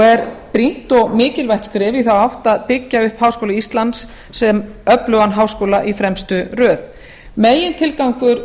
er brýnt og mikilvægt skref í þá átt að byggja upp háskóla íslands sem öflugan háskóla í fremstu röð megintilgangur